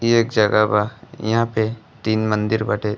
ई एक जगह बा। इहाँ पे तीन मंदिर बाटे।